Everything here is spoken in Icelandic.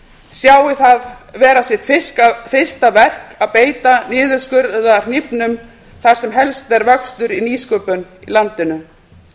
sjái það vera sitt fyrsta verk að beita niðurskurðarhnífnum þar sem helst er vöxtur í nýsköpun í landinu